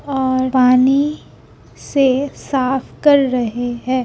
और पानी से साफ़ कर रहे हैं।